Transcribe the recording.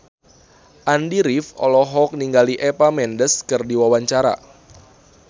Andy rif olohok ningali Eva Mendes keur diwawancara